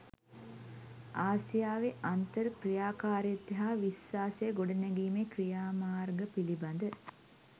ආසියාවේ අන්තර් ක්‍රියාකාරිත්වය හා විශ්වාසය ගොඩනැගීමේ ක්‍රියාමාර්ග පිළිබඳ